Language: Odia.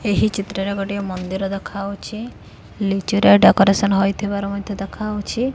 ଏହି ଚିତ୍ର ରେ ଗୋଟିଏ ମନ୍ଦିର ଦେଖାଯାଉଛି ଲିଚୁ ରେ ଡେକୋରେସନ ହେଇଥିବାର ମଧ୍ୟ୍ୟ ଦେଖାଯାଉଛି।